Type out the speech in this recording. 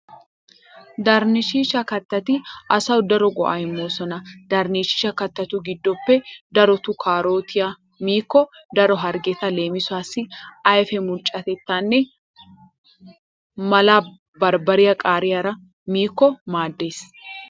Daarinchcha kattati asawu daro go'aa immoosona. Daarinchcha kattatu giddoppe darotoo kaarootiya miikko daro harggeta leemisuwassi ayfee mulccattenna mala barbbariya qaariyara miikko maaddees.